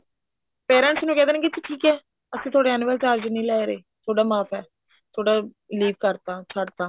parents ਨੂੰ ਕਿਹ ਦੇਣਗੇ ਜੀ ਠੀਕ ਹੈ ਅਸੀਂ ਤੁਹਾਡੇ annual charge ਨੀ ਲੈ ਰਹੇ ਤੁਹਾਡਾ ਮਾਫ਼ ਹੈ ਥੋਡਾ ਲੀਕ ਕਰਤਾ ਛੱਡਤਾ